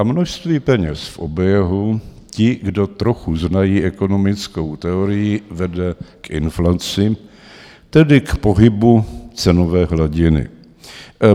A množství peněz v oběhu, ti, kdo trochu znají ekonomickou teorii, vede k inflaci, tedy k pohybu cenové hladiny.